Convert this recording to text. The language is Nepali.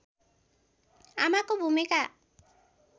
आमाको भूमिका